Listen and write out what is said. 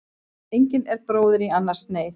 Engin er bróðir í annars neyð.